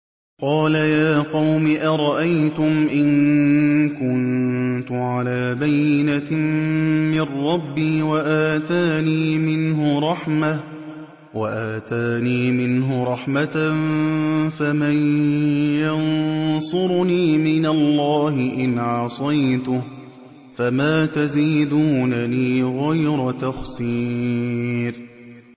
قَالَ يَا قَوْمِ أَرَأَيْتُمْ إِن كُنتُ عَلَىٰ بَيِّنَةٍ مِّن رَّبِّي وَآتَانِي مِنْهُ رَحْمَةً فَمَن يَنصُرُنِي مِنَ اللَّهِ إِنْ عَصَيْتُهُ ۖ فَمَا تَزِيدُونَنِي غَيْرَ تَخْسِيرٍ